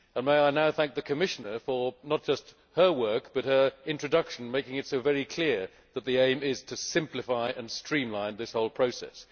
I would now like to thank the Commissioner for not just her work but her introduction, making it so very clear that the aim is to simplify and streamline this whole process.